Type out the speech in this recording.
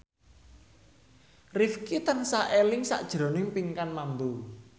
Rifqi tansah eling sakjroning Pinkan Mambo